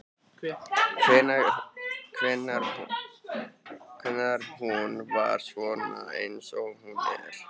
Hvenær hún varð svona eins og hún er.